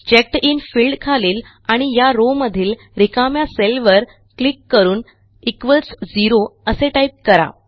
चेकडिन field खालील आणि या रॉव मधील रिकाम्या सेलवर क्लिक करून इक्वॉल्स झेरो असे टाईप करा